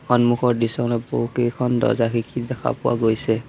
সন্মুখৰ দৃশ্যখনত বহুকেইখন দৰ্জা খিৰিকী দেখা পোৱা গৈছে।